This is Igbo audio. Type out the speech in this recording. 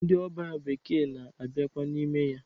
Ndị ọbịa bekee na-abiakwa n'ime ya.